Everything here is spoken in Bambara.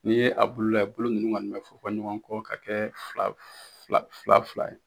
N'i ye a bulu lajɛ, bulu ninnu kɔni a fɔn fɔn ɲɔgɔn kɔ ka kɛ fila fila fila fila ye